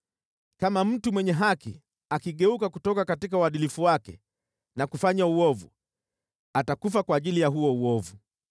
Kama mtu mwenye haki akigeuka kutoka uadilifu wake na kufanya uovu, atakufa kwa ajili ya huo uovu.